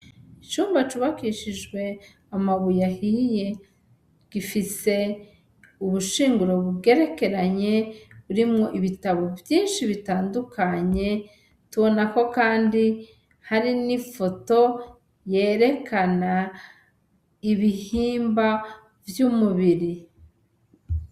Icumba cubakishijwe amabuye ahiye, gifise ubushinguro bugerekeranye burimwo ibitabo vyishi bitandukanye , tubona ko kandi harimwo ifoto yerekana ibihimba vy' umubiri.